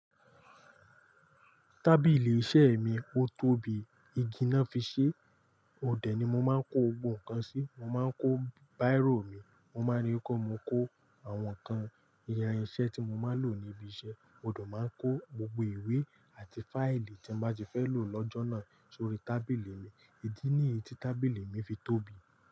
Tábìlì iṣẹ́ mi, ó tóbi, igi náà fi ṣe. Ode ni mo máa ń kó gbogbo nǹkan sí. Mo máa ń kó bírò mi, mo máa rí pe mo kó àwọn nǹkan ìyan iṣẹ́ tí mo máa n lò níbi iṣẹ́. Mo de máa n kó gbogbo ìwé àti fáìlì tí mo bá ti fẹ́ lò lọ́jọ́ náà sórí tábìlì mi. Ídí nìyí tí tábìlì mi fi tóbi.